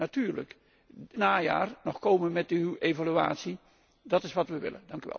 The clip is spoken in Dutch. En natuurlijk, dit najaar nog komen met uw evaluatie, dat is wat wij willen.